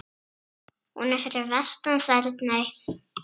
Hún er fyrir vestan Þerney.